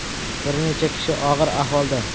Bir necha kishi og‘ir ahvolda.